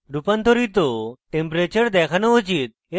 রূপান্তরিত temperature দেখানো উচিত